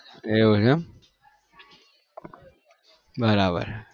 એવું છે એમ બરાબર